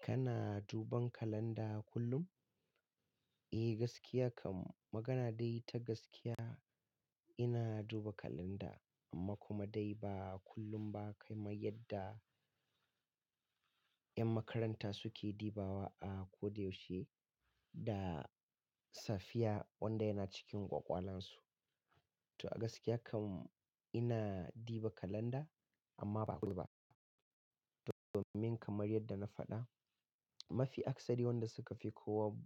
Kana duban kalanda kullum? Eh, gaskiya kam. Magana dai ta gaskiya, ina duba kalanda, amma kuma dai ba kullum ba kaman yadda ƴan makaranta suke dibawa a ko da yaushe, da safiya, wanda yana cikin ƙwaƙwalansu. To a gaskiya kam, ina diba kalanda, amma ba kullum ba domin kamar yadda na faɗa, mafi akasari wanda suka fi kowa